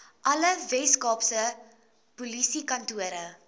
alle weskaapse polisiekantore